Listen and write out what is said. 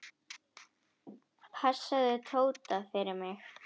Passaðu Tóta fyrir mig.